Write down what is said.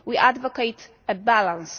We advocate a balance.